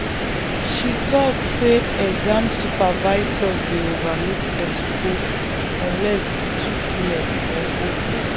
she talk say exam supervisors dey overlook expo unless e too clear or obvious.